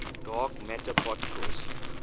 dark matter particles